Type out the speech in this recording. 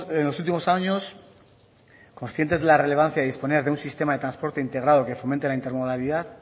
en los últimos años conscientes de la relevancia de disponer de un sistema de transporte integrado que fomente la intermodalidad